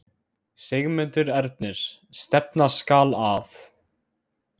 Sigmundur Ernir: Stefna skal að?